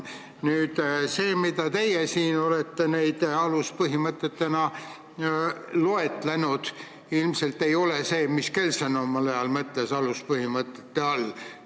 Need, mida teie olete aluspõhimõtetena loetlenud, ilmselt ei ole need, mida Kelsen omal ajal aluspõhimõtete all mõtles.